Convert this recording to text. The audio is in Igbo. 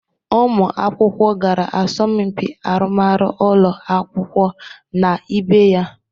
Ụmụ akwụkwọ gara asọmpị arụmarụ ụlọ akwụkwọ na ibe ya.